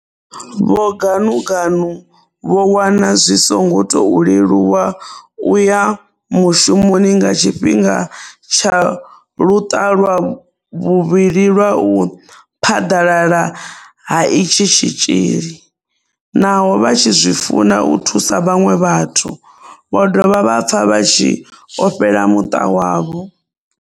Vho Ganuganu vho wana zwi songo tou leluwa u ya mushumoni nga tshifhinga tsha luṱa lwa vhuvhili lwa u phaḓalala ha itshi tshitzhili, naho vha tshi zwi funa u thusa vhaṅwe vhathu, vho dovha vha pfa vha tshi ofhela muṱa wavho.